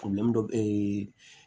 dɔ bɛ